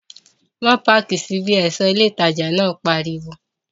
Má páàkì sí bí! ẹ̀ṣọ́ ilé ìtajà náà pariwo